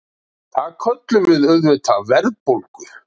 Það köllum við auðvitað verðbólgu.